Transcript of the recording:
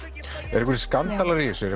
eru einhverjir skandalar í þessu